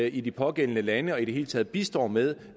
i de pågældende lande og i det hele taget bistår med